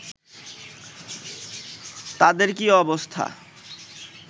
তাদের কি অবস্থা